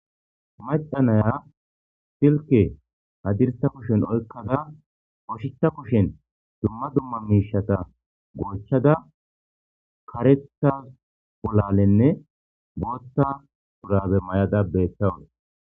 Macanaya silke hadirsa kushen oykkada oshitha kushen dumma dumma miishata goochchada kareta polalenne bootta urabe may'ada beethtawun.